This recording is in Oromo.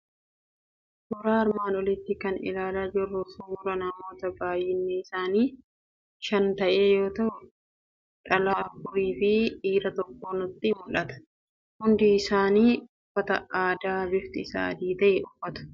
Suuraa armaan oliitti kan ilaalaa jirru suuraa namoota baay'inni isaanii shan ta'e yoo ta'u, dhalaa afurii fi dhiira tokko nutti mul'ata. Hundi isaanii uffata aadaa bifti isaa adii ta'e uffatu.